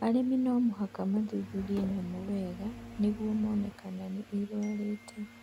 Arĩmi no mũhaka mathuthurie nyamũ wega nĩguo mone kana nĩ irũarĩte.